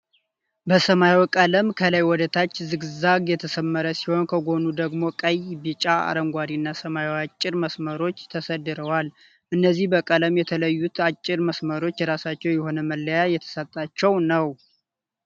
በሰማያዊ ቀለም ከላይ ወደ ታች ዝግዛግ የተሰመረ ሲሆን ከጉኑ ደግሞ ቀይ፣ ቢጫ ፣አረንጓዴ እና ሰማያዊ አጭር መስመሮች ተሰድረዋል። እነዚህ በቀለም የተለዩት አጭር መስመሮች የራሳቸዉ የሆነ መለያ የተሰጣቸዉ ነዉ።